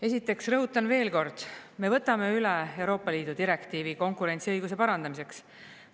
Esiteks rõhutan veel kord, me võtame üle Euroopa Liidu direktiivi konkurentsiõiguse parandamiseks.